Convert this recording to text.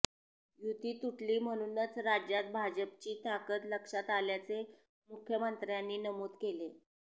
युती तुटली म्हणूनच राज्यात भाजपची ताकद लक्षात आल्याचे मुख्यमंत्र्यांनी नमूद केले